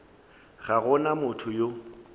ga go na motho yo